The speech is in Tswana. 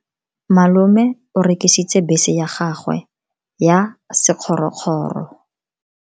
Malome o rekisitse bese ya gagwe ya sekgorokgoro.